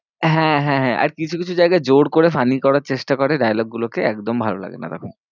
হ্যাঁ, হ্যাঁ, হ্যাঁ আর কিছু কিছু জায়গায় জোড় করে funny করার চেষ্টা করে, dialogue গুলোকে একদম ভালোলাগে না তখন।